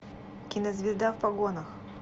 кинозвезда в погонах